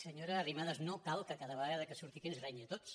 senyora arrimadas no cal que ca·da vegada que surti aquí ens renyi a tots